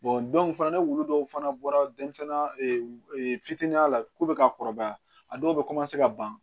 fana ni wulu dɔw fana bɔra denmisɛnnin fitinin ya la ko bɛ ka kɔrɔbaya a dɔw bɛ ka ban